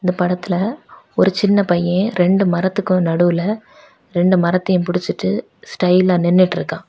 இந்த படத்துல ஒரு சின்ன பையன் ரெண்டு மரத்துக்கும் நடுவுல ரெண்டு மரத்தயு புடிச்சி ஸ்டைலா நின்னுட்டு இருக்கா.